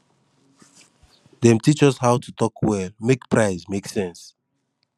dem teach us how to talk well make price make sense